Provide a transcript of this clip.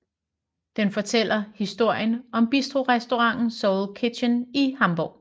Den fortæller historien om bistrorestauranten Soul Kitchen i Hamborg